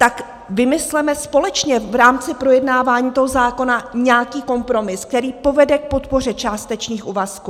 Tak vymysleme společně v rámci projednávání toho zákona nějaký kompromis, který povede k podpoře částečných úvazků.